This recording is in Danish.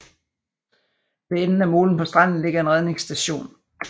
Ved enden af molen på stranden ligger en redningsstation